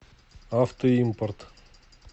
автоимпорт